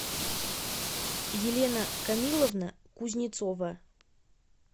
елена камиловна кузнецова